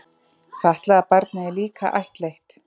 Fatlaða barnið er líka ættleitt.